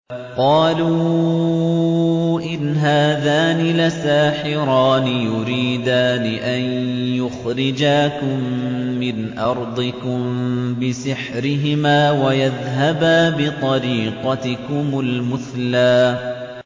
قَالُوا إِنْ هَٰذَانِ لَسَاحِرَانِ يُرِيدَانِ أَن يُخْرِجَاكُم مِّنْ أَرْضِكُم بِسِحْرِهِمَا وَيَذْهَبَا بِطَرِيقَتِكُمُ الْمُثْلَىٰ